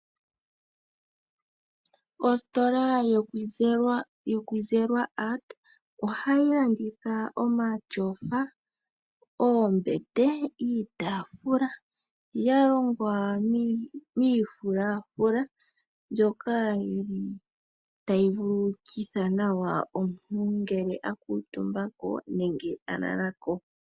Ositola yoKwizerwa Art ohayi landitha omatyofa , oombete, iitaafula yalongwa miifulafuli mbyoka yili tayi vululukitha nawa omuntu ngele akuutumba nenge alalako.